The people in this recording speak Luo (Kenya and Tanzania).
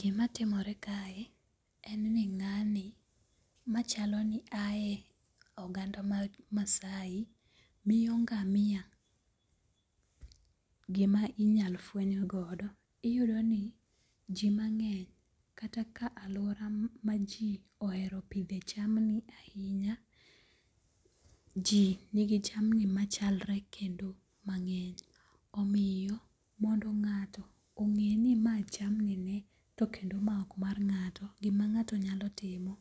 Gimatimore kae, en ni nga'ni machalo ni haye e oganda mar masai miyo nga'mia gima inyalo fweny godo, iyudoni ji mange'ny kata ka aluora ma ji ohero pithe jamni ahinya, ji nigi jamni machalre kendo mange'ny omiyo mondo nga'to onge' ni ma jamnine to kendo mae ok mar nga'to gima nga'to nyalo timo